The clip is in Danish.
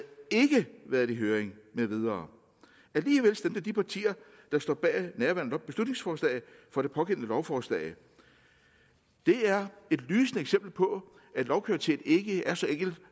været i høring med videre alligevel stemte de partier der står bag nærværende beslutningsforslag for det pågældende lovforslag det er et lysende eksempel på at lovkvalitet ikke er så enkelt